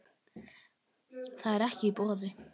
Það er ekki í boði.